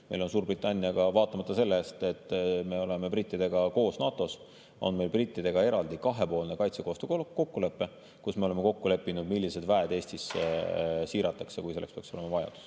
Meil on Suurbritanniaga, vaatamata sellele, et me oleme brittidega koos NATO‑s, eraldi kahepoolne kaitsekoostöö kokkulepe, kus me oleme kokku leppinud, millised väed Eestisse siiratakse, kui selleks peaks olema vajadus.